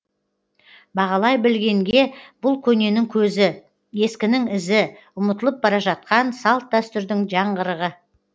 бағалай білгенге бұл көненің көзі ескінің ізі ұмытылып бара жатқан салт дәстүрдің жаңғырығы